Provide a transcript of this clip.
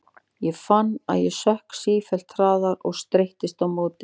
Ég fann að ég sökk sífellt hraðar og streittist á móti.